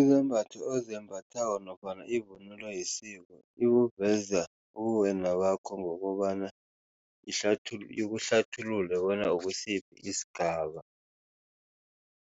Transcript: Izembatho ozembathako nofana ivunulo yesiko ikuveza ubuwena bakho ngokobana ikuhlathulule bona ukusiphi isigaba.